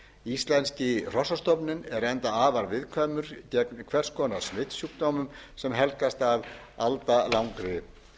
íslenski hrossastofninn er enda afar viðkvæmur gegn hvers konar smitsjúkdómum sem helgast af aldalangri